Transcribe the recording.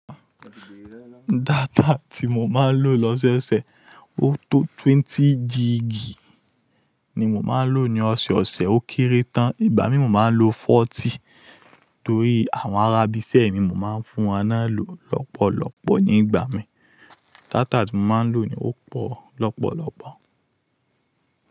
Data tí mo máa ń lò lọ́sẹ̀ẹ̀sẹ̀, ó tó twenty gíg ni mo máa ń lò ní ọ̀sẹ̀ osẹ̀, ó kéré tán. Ìgbà mìíràn mo máa ń lò forty, torí àwọn ará ibi iṣẹ́ mi mo máa ń fún wọn ná lò lọ́pọ̀lọ́pọ̀ ní ìgbà mìíràn. Data tí mo máa ń lò ó pọ̀ lọ́pọ̀lọ́pọ̀.